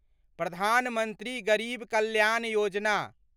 Pradhan Mantri Garib Kalyan Yojana